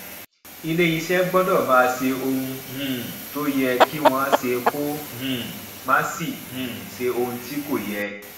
iléeṣẹ gbọdọ máa ṣe ohun um tó yẹ kí wọn ṣe kó um má sì um ṣe ohun tí kò yẹ